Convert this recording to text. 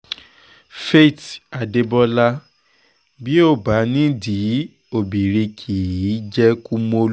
faith adébọlá bí ó bá nídìí obìnrin kì í jẹ́ kumolu